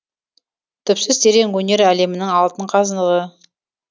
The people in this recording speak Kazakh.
түпсіз терең өнер әлемінің алтын қазығы